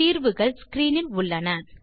தீர்வுகள் ஸ்கிரீனில் உள்ளன